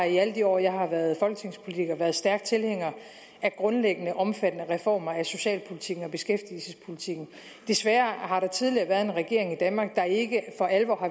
i alle de år jeg har været folketingspolitiker været stærk tilhænger af grundlæggende omfattende reformer af socialpolitikken og beskæftigelsespolitikken desværre har der tidligere været en regering i danmark der ikke for alvor har